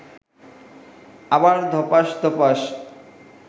আবার ধপাস্ ধপাস্